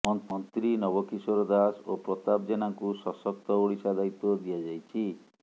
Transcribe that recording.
ମନ୍ତ୍ରୀ ନବ କିଶୋର ଦାସ ଓ ପ୍ରତାପ ଜେନାଙ୍କୁ ସଶକ୍ତ ଓଡ଼ିଶା ଦାୟିତ୍ୱ ଦିଆଯାଇଛି